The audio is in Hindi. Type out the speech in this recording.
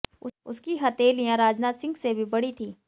उसकी हथेलियाँ राजनाथ सिंह से भी बड़ी थीं